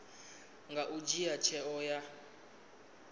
a nga dzhia tsheo ya